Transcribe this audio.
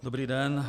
Dobrý den.